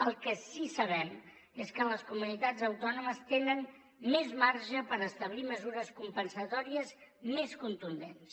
el que sí que sabem és que les comunitats autònomes tenen més marge per establir mesures compensatòries més contundents